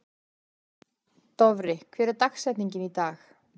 Dofri, hver er dagsetningin í dag?